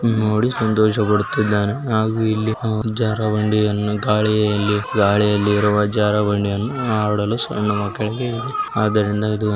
ನೋಡಿ ಸಂತೋಷ ಪಡುತ್ತಿದಾನೆ ಹಾಗೂ ಇಲ್ಲಿ ಜಾರೊ ಬಂಡಿಯನ್ನು ಗಾಳಿ ಯಲ್ಲಿ ಗಾಲಿಯಲ್ಲಿ ಅಳ್ಳಿ ಇರುವ ಜಾರೋ ಬಂಡಿ ಯನ್ನು ಆಡಲು ಸಣ್ಣ ಮಕ್ಕಳಿಗೆ ಅದರಿಂದ ಇದು --